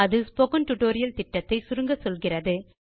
இது spoken tutorial project ஐ சுருக்கமாக சொல்லுகிறது